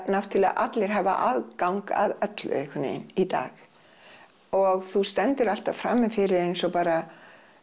náttúrlega allir hafa aðgang að öllu einhvernvegin í dag og þú stendur alltaf frami fyrri eins og bara